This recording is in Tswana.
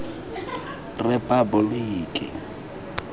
repaboliki